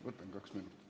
Võtan kaks minutit.